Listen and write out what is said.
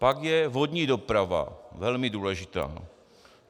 Pak je vodní doprava - velmi důležitá.